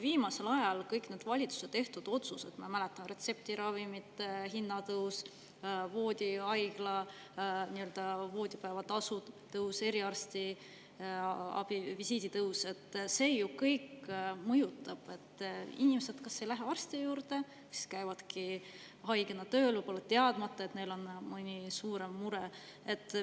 Viimasel ajal kõik valitsuse tehtud otsused – ma mäletan retseptiravimite hinna tõusu, haigla voodipäevatasu tõusu, eriarstiabi visiidi tõusu – mõjutavad inimesi nii, et nad ei lähegi arsti juurde ja käivad haigena tööl, võib-olla teadmata, et neil on mõni suurem mure.